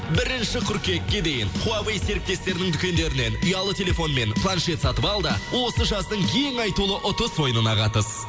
бірінші қыркүйекке дейін хуавэй серіктестерінің дүкендерінен ұялы телефон мен планшет сатып ал да осы жаздың ең айтулы ұтыс ойынына қатыс